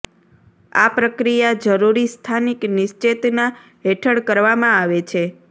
આ પ્રક્રિયા જરૂરી સ્થાનિક નિશ્ચેતના હેઠળ કરવામાં આવે છે